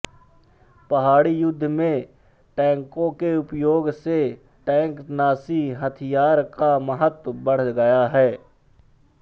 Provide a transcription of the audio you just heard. पहाड़ी युद्ध में टैंकों के उपयोग से टैंकनाशी हथियार का महत्व बढ़ गया है